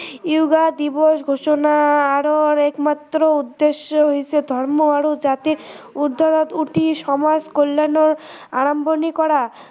yoga দিৱস ঘোষণা আৰু একমাত্ৰ উদ্দেশ্য় হৈছে ধৰ্ম আৰু জাতিৰ উৰ্দ্ধত উঠি সমাজ কল্য়াণৰ আৰম্ভণি কৰা